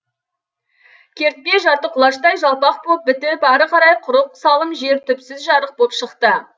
кертпе жарты құлаштай жалпақ боп бітіп ары қарай құрық салым жер түпсіз жарық боп шықты